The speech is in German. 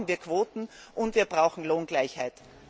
Deswegen brauchen wir Quoten und wir brauchen Lohngleichheit!